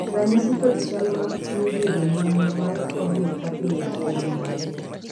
ranyisi kod chal mag tuo bedo momo mar caudal appendage en mage?